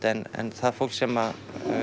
en það fólks sem